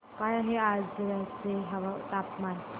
काय आहे आजर्याचे तापमान